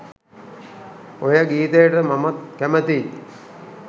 ඔය ගීතයට මමත් කැමතියි